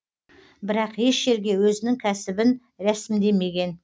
бірақ еш жерге өзінің кәсібін рәсімдемеген